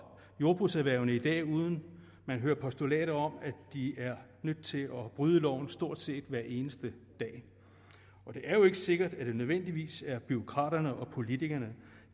jordbrugserhvervene i dag uden at man hører postulater om at de er nødt til at bryde loven stort set hver eneste dag det er jo ikke sikkert at det nødvendigvis er bureaukraterne og politikerne